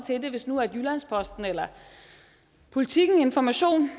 hvis nu jyllands posten eller politiken eller information